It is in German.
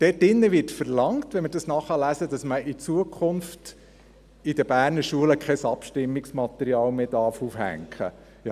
Wenn wir es nachlesen, wird dort verlangt, dass man in Zukunft in den Berner Schulen kein Abstimmungsmaterial mehr aufhängen darf.